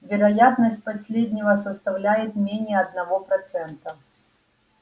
вероятность последнего составляет менее одного процента